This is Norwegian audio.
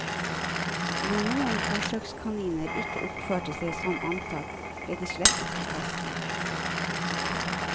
Når noen forsøkskaniner ikke oppførte seg som antatt, ble de slettet fra testen.